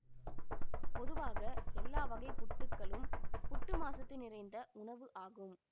பொதுவாக எல்லா வகைப் புட்டுக்களும் புட்டு மாசத்து நிறைந்த உணவு ஆகும்